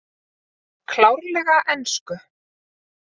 Klárlega ensku